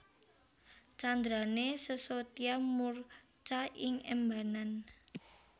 Candrané Sesotya murca ing embanan